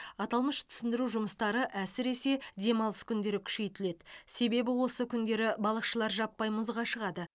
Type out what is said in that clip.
аталмыш түсіндіру жұмыстары әсіресе демалыс күндері күшейтіледі себебі осы күндері балықшылар жаппай мұзға шығады